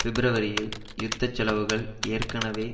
பிப்பிரவரியில் யுத்த செலவுகள் ஏற்கனவே